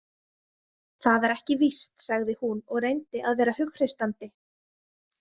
Það er ekki víst, sagði hún og reyndi að vera hughreystandi.